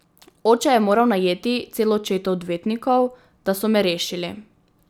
Oče je moral najeti celo četo odvetnikov, da so me rešili.